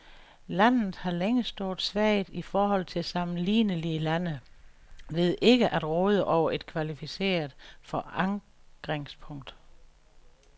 Landet har længe stået svagt i forhold til sammenlignelige lande ved ikke at råde over et kvalificeret forankringspunkt.